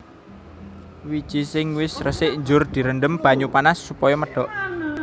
Wiji sing wis resik njur direndhem banyu panas supaya medhok